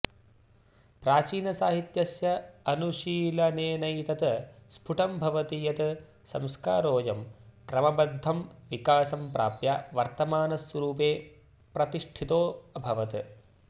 प्राचीनसाहित्यस्य अनुशीलनेनैतत् स्फुटं भवति यत् संस्कारोऽयं क्रमबध्दं विकासं प्राप्य वर्तमानस्वरुपे प्रतिष्ठितोऽभवत्